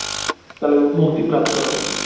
তাহলে ওর মুক্তি প্রাপ্ত হবে